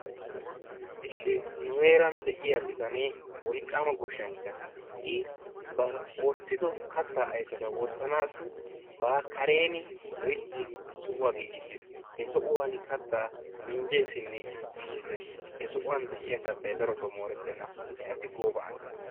Issi nu heeran de'iyaa bitanee wolqqama goshshanchcha I ba oottido kattaa ayfeta wottanaassi ba kareeni loyttidi sohuwa giigissiis. He sohuwani kaattaa minjjeesinne giigisses. He sohuwani de'iyaa kaattay darotoo moorettenna. He asi gooba asa.